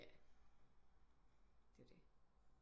Ja det er jo det